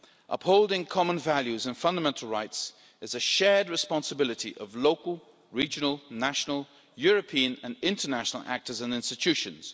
Upholding common values and fundamental rights is a shared responsibility of local, regional, national, European and international actors and institutions.